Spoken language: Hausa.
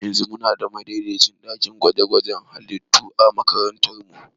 Yanzu muna da madaidaicin ɗakin gwaje-gwajen halittu a makarantara.